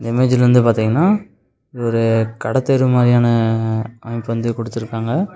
இந்த இமேஜ்ல வந்து பாத்திங்கன்னா இது ஒரு கட தெரு மரியான அமைப்பு வந்து குடுத்துருக்காங்க.